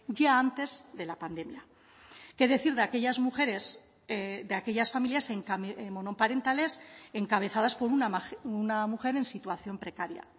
ya antes de la pandemia qué decir de aquellas mujeres de aquellas familias monoparentales encabezadas por una mujer en situación precaria